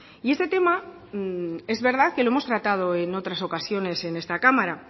y este tema es verdad que lo hemos tratado en otras ocasiones en esta cámara